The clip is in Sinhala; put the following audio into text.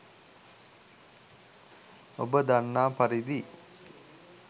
ඔබ දන්නා පරිදි